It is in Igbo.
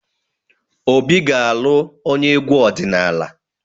Obi ga-alụ onye egwu ọdịnala.